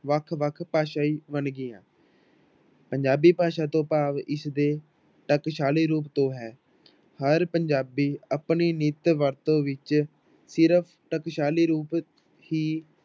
ਵੱਖ ਵੱਖ ਭਾਸ਼ਾਈ ਵੰਨਗੀਆਂ ਪੰਜਾਬੀ ਭਾਸ਼ਾ ਤੋਂ ਭਾਵ ਇਸਦੇ ਟਕਸਾਲੀ ਰੂਪ ਤੋਂ ਹੈ ਹਰ ਪੰਜਾਬੀ ਆਪਣੀ ਨਿਤ ਵਰਤੋਂ ਵਿੱਚ ਸਿਰਫ਼ ਟਕਸਾਲੀ ਰੂਪ ਹੀ